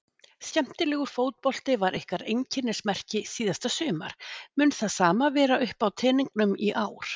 Skemmtilegur fótbolti var ykkar einkennismerki síðasta sumar mun það sama vera uppá teningnum í ár?